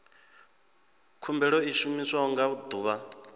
khumbelo i shumiwa nga ḓuvha